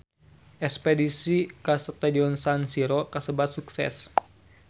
Espedisi ka Stadion San Siro kasebat sukses